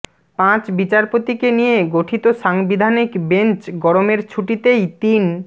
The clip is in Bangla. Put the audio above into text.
পাঁচ বিচারপতিকে নিয়ে গঠিত সাংবিধানিক বেঞ্চ গরমের ছুটিতেই তিন